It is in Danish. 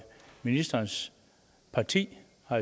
ministerens parti